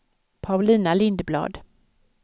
Paulina Lindblad